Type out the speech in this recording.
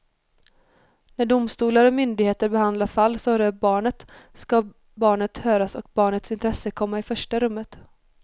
När domstolar och myndigheter behandlar fall som rör barnet ska barnet höras och barnets intresse komma i första rummet.